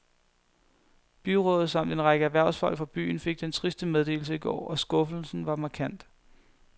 Byrådet samt en række erhvervsfolk fra byen fik den triste meddelelse i går, og skuffelsen var markant.